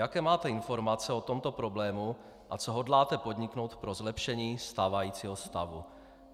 Jaké máte informace o tomto problému a co hodláte podniknout pro zlepšení stávajícího stavu?